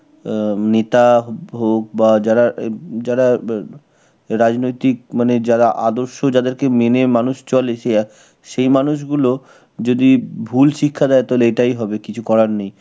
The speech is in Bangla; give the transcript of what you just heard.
উম নেতা হোক বা যারা এব~, যারা এব~ রাজনৈতিক মানে যারা আদর্শ যাদেরকে মেনে মানুষ চলে সে, সেই মানুষগুলো যদি ভুল শিক্ষা দেয় তাহলে এটাই হবে, কিছু করার নেই.